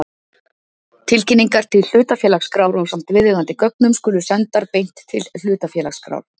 Tilkynningar til hlutafélagaskrár ásamt viðeigandi gögnum skulu sendar beint til hlutafélagaskrár.